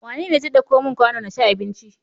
Wane zai ɗauko mun kwano naci abinci?